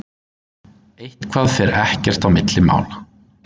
Eitthvað fer ekkert á milli mála